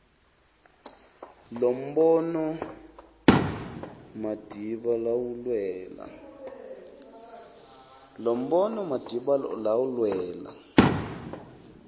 lombono madiba lawulwela